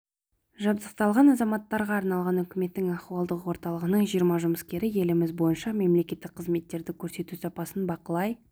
жабдықталған азаматтарға арналған үкіметтің ахуалдық орталығының жиырма жұмыскері еліміз бойынша мемлекеттік қызметтерді көрсету сапасын бақылай